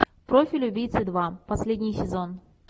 профиль убийцы два последний сезон